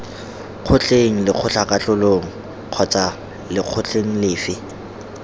kgotleng lekgotlakatlholong kgotsa lekgotleng lefe